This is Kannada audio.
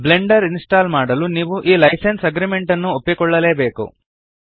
ಬ್ಲೆಂಡರ್ ಇನ್ಸ್ಟಾಲ್ ಮಾಡಲು ನೀವು ಈ ಲೈಸೆನ್ಸ್ ಅಗ್ರೀಮೆಂಟ್ ನ್ನು ಒಪ್ಪಿಕೊಳ್ಳಲೇಬೇಕು